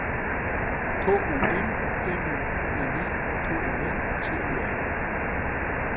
K O M M U N E K O N T O R